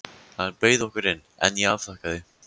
Hann bauð okkur inn, en ég afþakkaði.